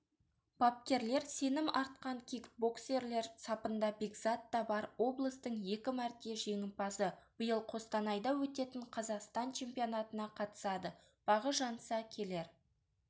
бапкерлер сенім артқан кикбоксерлер сапында бекзат та бар облыстың екі мәрте жеңімпазы биыл қостанайда өтетін қазақстан чемпионатына қатысады бағы жанса келер